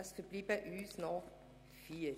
Es verbleiben noch vier.